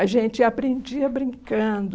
A gente aprendia brincando.